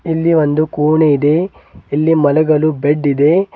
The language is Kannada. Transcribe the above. ಇಲ್ಲಿ ಒಂದು ಕೋಣೆ ಇದೆ ಇಲ್ಲಿ ಮಲಗಲು ಬೆಡ್ ಇದೆ.